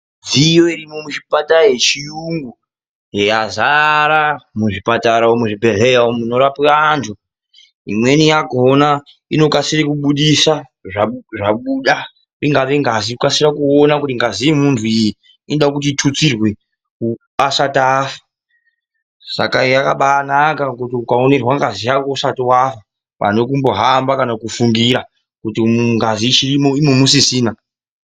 Midziyo irimwo muzvipara yechiyungu yazara muchipatara muzvibhedhleya umwu munorapwa antu imweni yakona inokasire kubudisa zvabuda ,ingave ngazi .Inokasira kuona kuti ngazi yemuntu iyi inoda kuti itutsirwe asati afa saka yakambanaka pakuti ukaonerwa ngazi yako usati wafa ,pane kumbohamba kana kufungira kuti ngazi ichirimwo imwo musisina.